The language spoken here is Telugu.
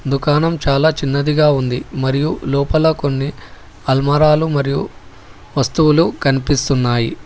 దుకాణం చాలా చిన్నదిగా ఉంది మరియు లోపల కొన్ని అల్మరాలు మరియు వస్తువులు కనిపిస్తున్నాయి.